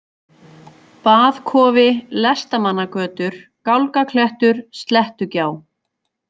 Baðkofi, Lestamannagötur, Gálgaklettur, Slettugjá